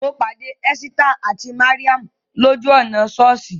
Mo pàdé Ẹ́sítà àti Màríà lójú ọ̀nà sọ́ọ̀sì